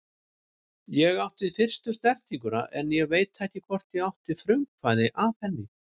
Ég átti fyrstu snertinguna en ég veit ekki hvort ég átti frumkvæðið að henni.